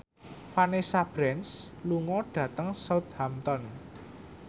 Vanessa Branch lunga dhateng Southampton